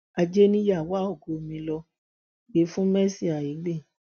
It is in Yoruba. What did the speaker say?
ajé nìyá wá ògo mi lọ gbé fún mercy aigbe